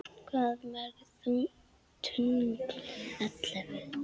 Hvað mörg tungl ellefu?